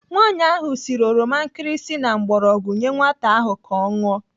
Nwaanyi ahụ siri oroma nkirisi na mgbọrọgwụ nyee nwata ahụ ka ọ ṅụọ.